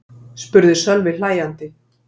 spurði Sölvi hlæjandi.